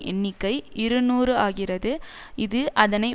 எண்ணிக்கை இருநூறு ஆகிறது இது அதனை